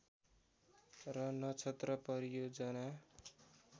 र नक्षत्र परियोजना